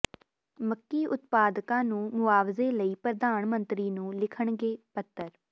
ਮੱਕੀ ਉਤਪਾਦਕਾਂ ਨੂੰ ਮੁਆਵਜ਼ੇ ਲਈ ਪ੍ਰਧਾਨ ਮੰਤਰੀ ਨੂੰ ਲਿਖਣਗੇ ਪੱਤਰ